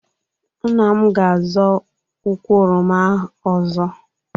Nna m ga azọ ụkwụ oroma ọzọ